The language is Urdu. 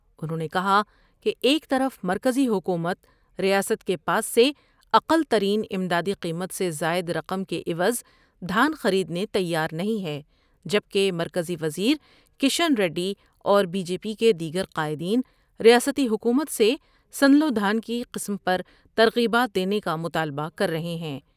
انہوں نے کہا کہ ایک طرف مرکزی حکومت ، ریاست کے پاس سے اقل ترین امدادی قیمت سے زائد رقم کے عوض دھان خرید نے تیار نہیں ہے جبکہ مرکزی وزیرکشن ریڈی اور بی جے پی کے دیگر قائدین ، ریاستی حکومت سے سنلو دھان کی قسم پر ترغیبات دینے کا مطالبہ کرر ہے ہیں ۔